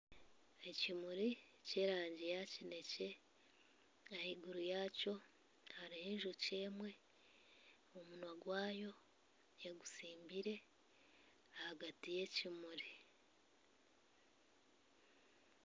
Ekimuri kyerangi ya kinekye ahaiguru yaakyo hariyo enjoki emwe omunwa gwaayo egutsimbire ahagati yekimuri